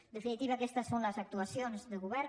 en definitiva aquestes són les actuacions de govern